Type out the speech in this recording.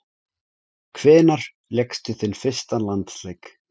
Hvenær lékstu þinn fyrsta landsleik?